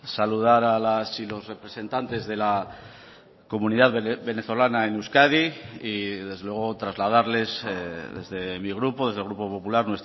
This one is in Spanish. saludar a las y los representantes de la comunidad venezolana en euskadi y desde luego trasladarles desde mi grupo desde el grupo popular